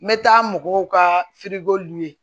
N bɛ taa mɔgɔw ka